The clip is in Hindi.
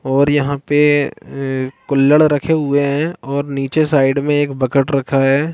और यहाँ पे ए कुल्लड़ रहै हुए है और निचे साइड में एक बकेट रखा है।